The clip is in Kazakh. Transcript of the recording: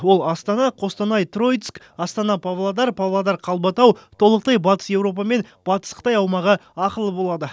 ол астана қостанай троицк астана павлодар павлодар қалбатау толықтай батыс еуропа мен батыс қытай аумағы ақылы болады